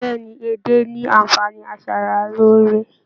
Bẹẹni, edé ní anfààní asaraloore.